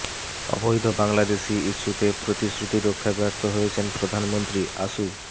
অবৈধ বাংলাদেশি ইস্যুতে প্ৰ তিশ্ৰুতি রক্ষায় ব্যর্থ হয়েছেন প্ৰধানমন্ত্ৰীঃ আসু